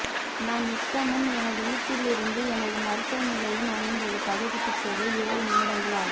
நான் நித்தமும் எனது வீட்டிலிருந்து எனது மருத்துவ நிலையம் அமைந்துள்ள பகுதிக்குச் செல்ல ஏழு நிமிடங்கள் ஆகும்